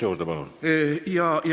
Kolm minutit juurde.